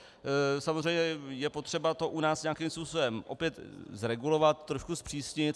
Samozřejmě je potřeba to u nás nějakým způsobem opět zregulovat, trošku zpřísnit.